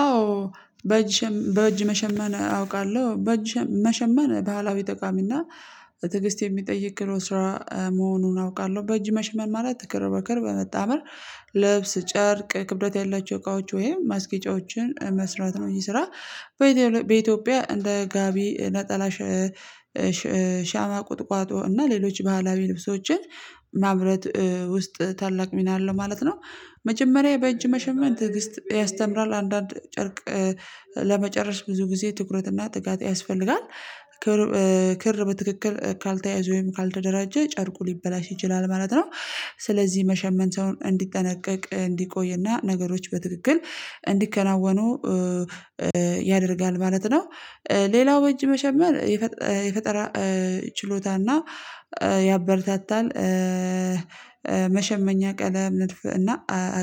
አዎ። በእጅ መሸመን አውቃለሁ በእጅ መሸመን ባህላዊ ጠቃሚና ትግስት የሚጠይቅ ጥሩ ስራ መሆኑን አውቃለሁ። በእጅ መሸመን ማለት ክር በክር በመጣመር ልብስ ጨርቅ ክብደት ያላቸው እቃዎች ወይም ማስገጫዎችን መስራት ነው ይህ ስራ። በኢትዮጵያ እንደ ጋቢ ነጠላ ሻማ ቁጥቋጦ እና ሌሎች ባህላዊ ልብሶችን ማምረት ውስጥ ታላቅ ሚና አለው ማለት ነው። መጀመሪያ በእጅ መሸመን ትዕግስት ያስተምራል አንዳንድ ጨርቅ ለመጨረስ ብዙ ጊዜ ትኩረትና ጥጋት ያስፈልጋል። ክር በትክክል ካልተያዘ ወይም ካልተደራጀ ጨርቁ ሊበላሽ ይችላል ማለት ነው። ስለዚህ መሸመን ሰውን እንዲጠነቀቅ እንዲቆይና ነገሮች በትክክል እንዲከናወኑ ያደርጋል ማለት ነው። ሌላው በእጅ መሸመን የፈጠራ ችሎታና ያበረታታል መሸመኛ ቀለም ነድፍ እና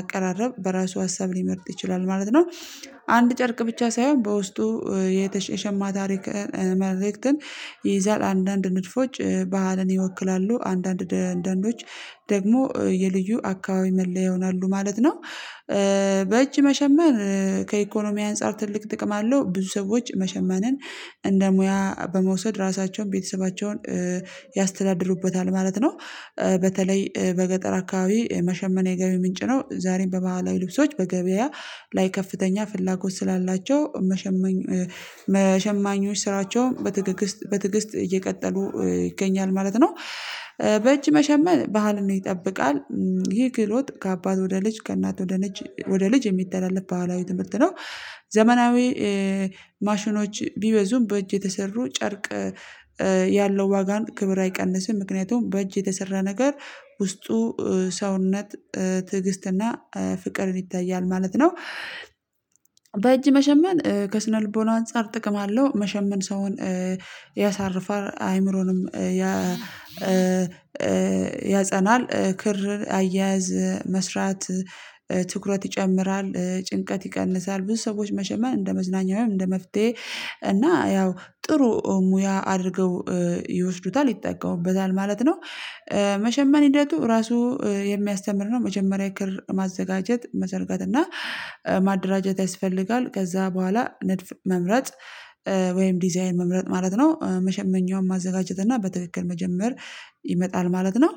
አቀራረብ በራሱ ሀሳብ ሊመርጥ ይችላል ማለት ነው። አንድ ጨርቅ ብቻ ሳይሆን በውስጡ የተሸማ ታሪክ መልእክትን ይይዛል አንዳንድ ንድፎች ባህልን ይወክላሉ አንዳንዶች ደግሞ የልዩ አካባቢ መለያ ይሆናሉ ማለት ነው። በእጅ መሸመን ከኢኮኖሚያዊ አንፃር ትልቅ ጥቅም አለው ብዙ ሰዎች መሸመንን እንደ ሙያ በመውሰድ ራሳቸውን ቤተሰባቸውን ያስተዳድሩበታል ማለት ነው። በተለይ በገጠር አካባቢ መሸመን ገቢ ምንጭ ነው ዛሬም በባህላዊ ልብሶች በገበያ ላይ ከፍተኛ ፍላጎት ስላላቸው ሸማኞች ስራቸውን በትግስት እየቀጠሉ ይገኛል ማለት ነው። በእጅ መሸመን ባህልን ይጠብቃል ይሄ ክህሎት ከአባት ወደ ልጅ ከእናት ወደ ልጅ የሚተላለፍ ባህላዊ ትምህርት ነው። ዘመናዊ ማሽኖች ቢበዙም በእጅ የተሰሩ ጨርቅ ያለው ዋጋን ክብር አይቀንስም ምክንያቱም በእጅ የተሰራ ነገር ውስጡ ሰውነት ትዕግስትና ፍቅርን ይታያል ማለት ነው። በእጅ መሸመን ከስነልቦና አንፃር ጥቅም አለው መሸመን ሰውን ያሳርፋል አይምሮንም ያጸናል ክር አያያዝ መስራት ትኩረት ይጨምራል ጭንቀት ይቀንሳል ብዙ ሰዎች መሸመን እንደ መዝናኛ ወይም እንደ መፍትሄ እና ያው ጥሩ ሙያ አድርገው ይወስዱታል ይጠቀሙበታል ማለት ነው። መሸመን ሂደቱ ራሱ የሚያስተምር ነው መጀመሪያ ክር ማዘጋጀት መዘርጋት እና ማደራጀት ያስፈልጋል ከዛ በኋላ ንድፍ መምረጥ ወይም ዲዛይን መምረጥ ማለት ነው መሸመኛውን ማዘጋጀት እና በትክክል መጀመር ይመጣል ማለት ነው።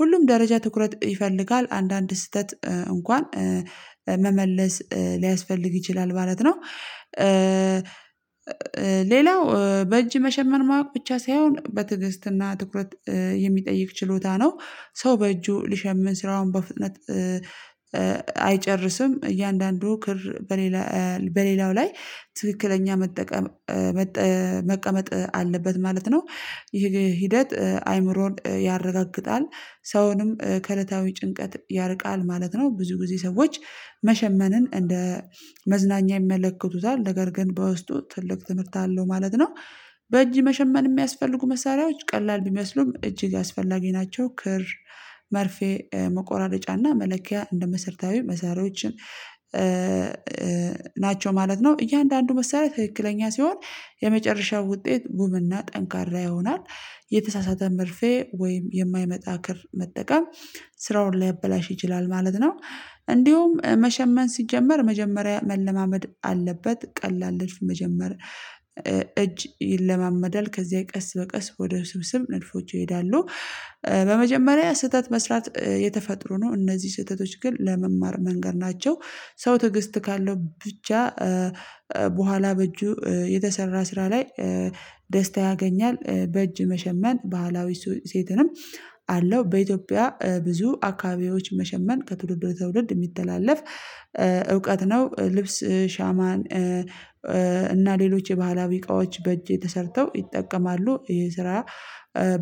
ሁሉም ደረጃ ትኩረት ይፈልጋል አንዳንድ ስህተት እንኳን መመለስ ሊያስፈልግ ይችላል ማለት ነው። ሌላው በእጅ መሸመን ማወቅ ብቻ ሳይሆን በትዕግስትና ትኩረት የሚጠይቅ ችሎታ ነው። ሰው በእጁ ሊሸምን ስራውን በፍጥነት አይጨርስም እያንዳንዱ ክር በሌላው ላይ ትክክለኛ መቀመጥ አለበት ማለት ነው። ይሄ ሂደት አይምሮን ያረጋግጣል ሰውንም ከእለታዊ ጭንቀት ያርቃል ማለት ነው ብዙ ጊዜ ሰዎች መሸመንን እንደ መዝናኛ ይመለከቱታል ነገር ግን በውስጡ ትልቅ ትምህርት አለው ማለት ነው። በእጅ መሸመን የሚያስፈልጉ መሳሪያዎች ቀላል ቢመስሉም እጅግ አስፈላጊ ናቸው ክር መርፌ መቆራረጫና መለኪያ እንደ መሰርታዊ መሳሪያዎች ናቸው ማለት ነው። እያንዳንዱ መሳሪያ ትክክለኛ ሲሆን የመጨረሻው ውጤት ውብና ጠንካራ ይሆናል የተሳሳተ መርፌ ወይም የማይመጣ ክር መጠቀም ስራውን ሊያበላሽ ይችላል ማለት ነው። እንዲሁም መሸመን ሲጀመር መጀመሪያ መለማመድ አለበት ቀላል ንድፍ መጀመሪያ እጅ ይለማመዳል ከዚያ ቀስ በቀስ ወደ ውስብስብ ንድፎች ይሄዳሉ በመጀመሪያ ስህተት መስራት የተፈጥሮ ነው እነዚህ ስህተቶች ግን ለመማር መንገድ ናቸው። ሰው ትዕግስት ካለው ብቻ በኋላ በእጁ የተሰራ ስራ ላይ ደስታ ያገኛል በእጅ መሸመን ባህላዊ እሴትንም አለው በኢትዮጵያ ብዙ አካባቢዎች መሸመን ከትውልድ ወደ ትውልድ የሚተላለፍ እውቀት ነው ልብስ ሻማን እና ሌሎች የባህላዊ እቃዎች በእጄ ተሰርተው ይጠቀማሉ ይሄ ስራ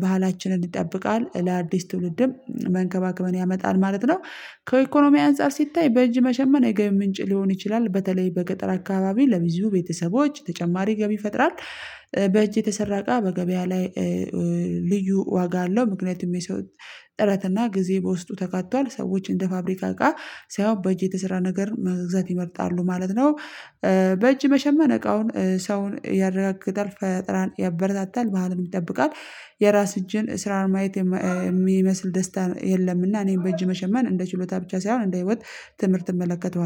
ባህላችንን ይጠብቃል ለአዲስ ትውልድም መንከባከብን ያመጣል ማለት ነው። ከኢኮኖሚያዊ አንፃር ሲታይ በእጅ መሸመን የገቢ ምንጭ ሊሆን ይችላል በተለይ በገጠር አካባቢ ለብዙ ቤተሰቦች ተጨማሪ ገቢ ይፈጥራል በእጅ የተሰራ እቃ በገበያ ላይ ልዩ ዋጋ አለው ምክንያቱም የሰው ጥረት እና ጊዜ በውስጡ ተካቷል ሰዎች እንደ ፋብሪካ እቃ ሳይሆን በእጅ የተሰራ ነገር መግዛት ይመርጣሉ ማለት ነው። በእጅ መሸመን እቃውን ሰውን ያረጋግጣል ፈጠራን ያበረታታል ባህልን ይጠብቃል የራስ እጅን ስራን ማየት የሚመስል ደስታ የለምና እኔም በእጅ መሸመን እንደ ችሎታ ብቻ ሳይሆን እንደ ህይወት ትምህርት እመለከተዋለሁ